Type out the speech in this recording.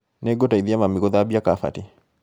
Nĩngũteithia mami gũthambia kabati